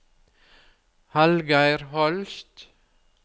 Hallgeir Holst